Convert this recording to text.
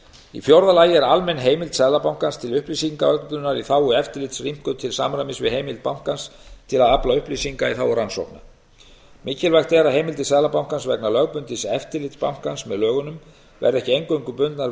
í fjórða lagi er almenn heimild seðlabankans til upplýsingaöflunar í þágu eftirlits rýmkuð til samræmis við heimild bankans til að afla upplýsinga í þágu rannsókna mikilvægt er að heimildir seðlabankans vegna lögbundins eftirlits bankans með lögunum verði ekki eingöngu bundnar við